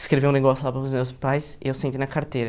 Escreveu um negócio lá para os meus pais e eu sentei na carteira.